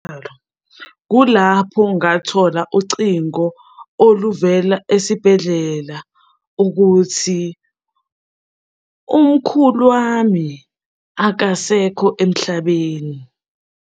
Kulapho ngathola ucingo oluvela esibhedlela ukuthi, umkhulu wami akasekho emhlabeni.